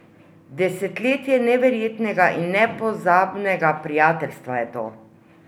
Desetletje neverjetnega in nepozabnega prijateljstva je to!